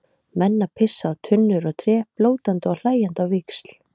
Menn að pissa á tunnur og tré, blótandi og hlæjandi á víxl.